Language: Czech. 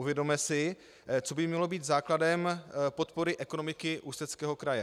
Uvědomme si, co by mělo být základem podpory ekonomiky Ústeckého kraje.